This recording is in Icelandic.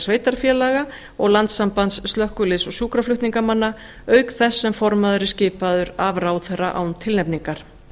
sveitarfélaga og landssamband slökkviliðs og sjúkraflutningamanna auk þess sem formaður er skipaður af ráðherra án tilnefningar